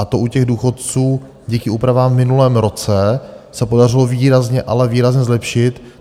A to u těch důchodců díky úpravám v minulém roce se podařilo výrazně, ale výrazně zlepšit.